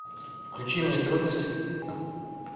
включи мне трудности